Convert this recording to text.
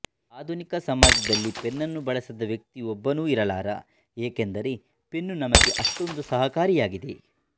ಆಧುನಿಕ ಸಮಾಜದಲ್ಲಿ ಪೆನ್ನನ್ನು ಬಳಸದ ವ್ಯಕ್ತಿ ಒಬ್ಬನೂ ಇರಲಾರ ಏಕೆಂದರೆ ಪೆನ್ನು ನಮಗೆ ಅಷ್ಱೊಂದು ಸಹಕಾರಿಯಾಗಿದೆ